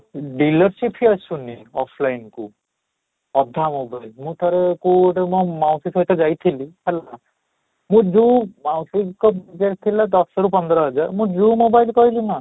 dealership ହିଁ ଆସୁନି offline କୁ ଅଧା mobile ମୁଁ ଠାରେ କୋଉ ଗୋଟେ ମୋ ମାଉସୀ ସହିତ ଯାଇଥିଲି ହେଲା, ଯେ ଯୋଉଁ ମାଉସୀଙ୍କ budget ରେ ଥିଲା ଦଶ ରୁ ପନ୍ଦର ହଜାର ମୁଁ ଯୋଉ mobile କହିଲି ନା